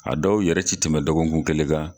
A dɔw yɛrɛ ti tɛmɛ dɔgɔkun kelen kan